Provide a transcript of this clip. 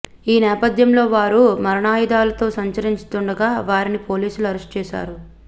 ఈ నేపథ్యంలో వారు మారణాయుధాలతో సంచరిస్తుండగా వారిని పోలీసులు అరెస్ట్ చేశారు